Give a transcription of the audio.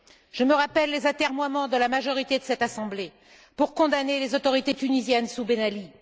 Je me rappelle les atermoiements de la majorité de cette Assemblée pour condamner les autorités tunisiennes sous Ben Ali.